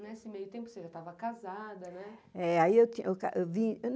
Nesse meio tempo você já estava casada, não é?